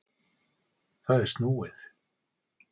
Það er snúið.